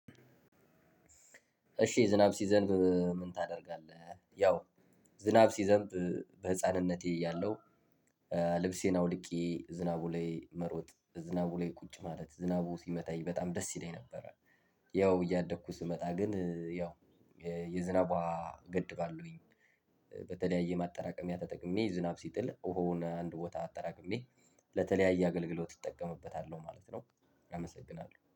እሺ ዝናብ ሲዘንብ ምን ታደርጋለህ? ያው ዝናብ ሲዘንብ በህፃንነቴ እያለው ልብሴን አውልቄ ዝናቡ ላይ መሮጥ ዝናቡ ላይ ቁጭ ማለት ዝናቡ ሲመታኝ በጣም ደስ ይለኝ ነበረ። ያው እያደኩ ስመጣ ግን ያው የዝናብ ውሃ ገድባለሁኝ። በተለያየ ማጠራቀሚያ ተጠቅሜ ዝናብ ሲጥል ውሃውን አንድ ቦታ አጠራቅሜ ለተለያየ አገልግሎት እጠቀምበታለሁ ማለት ነው። እመሰግናለሁ